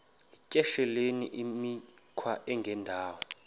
yityesheleni imikhwa engendawo